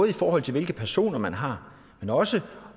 i forhold til hvilke personer man har men også